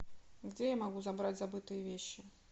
где я могу забрать забытые вещи